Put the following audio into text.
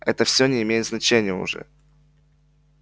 это все не имеет значения уже